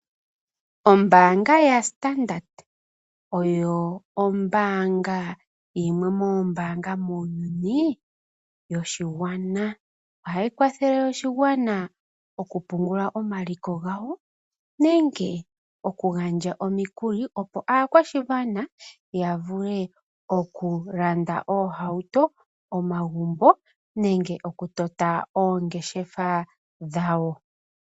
Ombaanga ya (Standards) oyo ombaanga yimwe mombaanga muuyuni yoshigwana. Oha yi kwathele, oshigwana oku pungula omaliko gawo, nenge oku gandja omikuli opo aakwashigwana ya vule oku landa oohauto, omagumbo nenge omu yota oongeshefa dhawo.